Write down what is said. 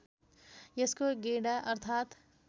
यसको गेडा अर्थात्